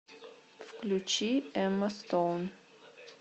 включи эмма стоун